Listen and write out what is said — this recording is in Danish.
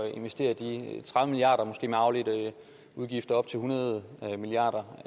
investere de tredive milliard kroner og måske med afledte udgifter op til hundrede milliard